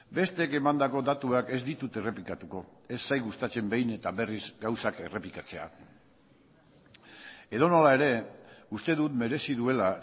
besteek emandako datuak ez ditut errepikatuko ez zait gustatzen behin eta berriz gauzak errepikatzea edonola ere uste dut merezi duela